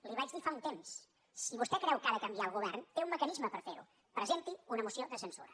li ho vaig dir fa un temps si vostè creu que ha de canviar el govern té un mecanisme per fer ho presenti una moció de censura